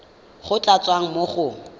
go tla tswa mo go